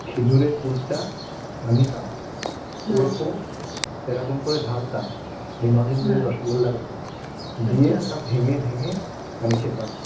খেজুরের গুড়টা নিতাম ওর ওপর, এরকম করে ঢালতাম ওই নলেন গুড়ের রসগোল্লার ওপর দিয়ে ওটা ভেঙ্গে ভেঙ্গে, মানে খেতাম